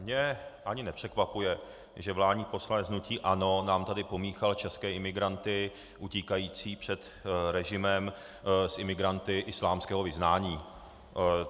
Mě ani nepřekvapuje, že vládní poslanec hnutí ANO nám tady pomíchal české imigranty utíkající před režimem s imigranty islámského vyznání.